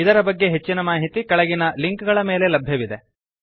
ಇದರ ಬಗ್ಗೆ ಹೆಚ್ಚಿನ ಮಾಹಿತಿ ಕೆಳಗಿನ ಲಿಂಕ್ ಗಳ ಮೇಲೆ ಲಭ್ಯವಿದೆ